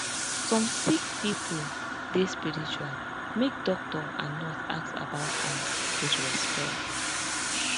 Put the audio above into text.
some sick pipo dey spiritual make doctor and nurse ask about am wit respect